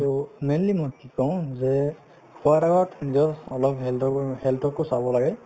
so, mainly মই কি কওঁ যে খোৱাৰ আগত নিজৰ অলপ health ৰ health কো চাব লাগে